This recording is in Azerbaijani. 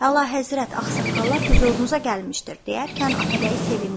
Əlahəzrət, ağsaqqallar hüzurunuza gəlmişdir deyərkən Atabəy sevindi.